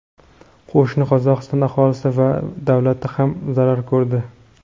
Qo‘shni Qozog‘iston aholisi va davlati ham zarar ko‘rdi.